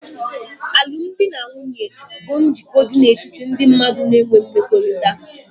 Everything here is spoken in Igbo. Alụmdi na nwunye bụ njikọ dị n'etiti ndị mmadụ na'ewe mmekọrịta